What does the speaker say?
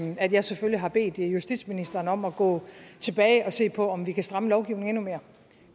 at jeg selvfølgelig har bedt justitsministeren om at gå tilbage og se på om vi kan stramme lovgivningen endnu mere